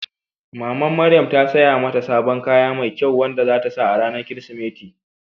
Mamar Maryan ta saya mata sabon kaya mai kyau wanda za ta sa a ranar Kirsimeti.